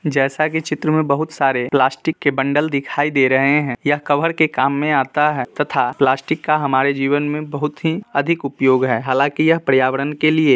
जैसा की चित्र में बहुत सारे प्लास्टिक के बंडल दिखाई दे रहे हैं| यह कभर के काम में आता है तथा प्लास्टिक का हमारे जीवन में बहुत ही अधिक उपयोग है| हालांकि यह पर्यावरण के लिए--